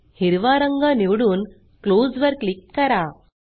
हिरवा रंग निवडून क्लोज वर क्लिक करा